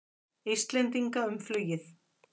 Íslendinga um flugið.